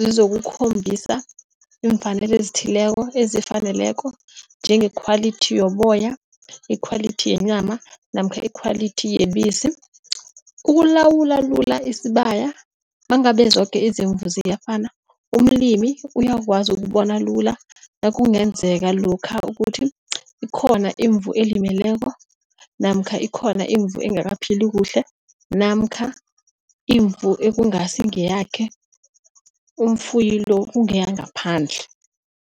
zizokukhombisa iimfanelo ezithileko ezifaneleko, njengekhwalithi yoboya, ikhwalithi yenyama namkha ikhwalithi yebisi. Ukulawula lula isibaya nangabe zoke izimvu ziyafana, umlimi uyakwazi ukubona lula nakungenzeka lokha ukuthi ikhona imvu elimeleko, namkha ikhona iimvu engakaphili kuhle namkha imvu ekungasi ngeyakhe umfuyi lo, kungeyangaphandle.